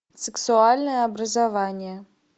сексуальное образование